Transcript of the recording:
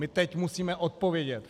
My teď musíme odpovědět.